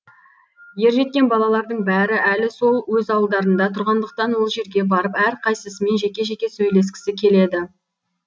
ержеткен балалардың бәрі әлі сол өз ауылдарында тұрғандықтан ол жерге барып әрқайсысымен жеке жеке сөйлескісі келеді